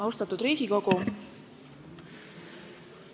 Austatud Riigikogu!